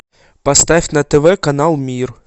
поставь на тв канал мир